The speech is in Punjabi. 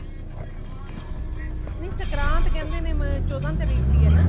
ਨਹੀਂ ਸੰਗਰਾਂਦ ਕੇਂਦੇ ਨੇ ਚੋਹਦਾ ਤਰੀਕ ਦੀ ਹੈਨਾ